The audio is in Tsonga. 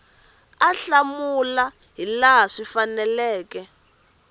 a hlamula hilaha swi faneleke